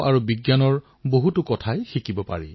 ইয়াক আগুৱাই লৈ যোৱাৰ বাবে দেশবাসীয়ে মিলি পৰিশ্ৰম কৰিব লাগিব